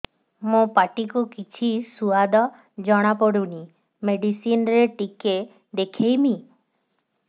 ମୋ ପାଟି କୁ କିଛି ସୁଆଦ ଜଣାପଡ଼ୁନି ମେଡିସିନ ରେ ଟିକେ ଦେଖେଇମି